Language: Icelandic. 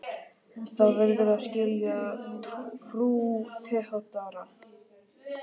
Þér verðið að skilja, frú Theodóra.